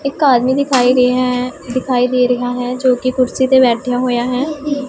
ਇੱਕ ਆਦਮੀ ਦੀ ਖਾਏ ਗਏ ਹ ਦਿਖਾਈ ਦੇ ਰਿਹਾ ਹੈ ਜੋ ਕਿ ਕੁਰਸੀ ਤੇ ਬੈਠਿਆ ਹੋਇਆ ਹੈ।